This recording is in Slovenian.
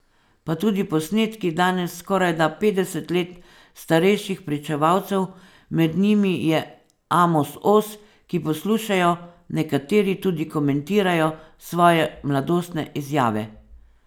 Pa tudi posnetki danes skorajda petdeset let starejših pričevalcev, med njimi je Amos Oz, ki poslušajo, nekateri tudi komentirajo, svoje mladostne izjave.